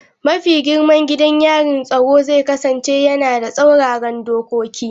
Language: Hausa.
Mafi girman gidan yarin tsaro zai kasance yana da tsauraran dokoki.